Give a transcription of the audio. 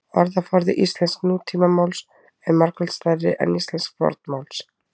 orðaforði íslensks nútímamáls er margfalt stærri en íslensks fornmáls